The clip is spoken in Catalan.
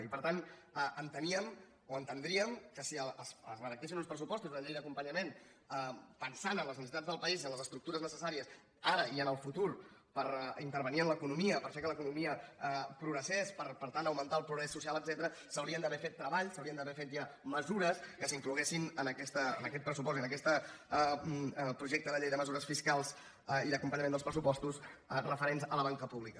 i per tant enteníem o entendríem que si es redactessin uns pressupostos una llei d’acompanyament pensant en les necessitats del país i en les estructures necessàries ara i en el futur per intervenir en l’economia per fer que l’economia progressés per tant augmentar el progrés social etcètera s’haurien d’haver fet treballs s’haurien d’haver fet ja mesures que s’incloguessin en aquest pressupost i en aquest projecte de llei de mesures fiscals i d’acompanyament dels pressupostos referents a la banca pública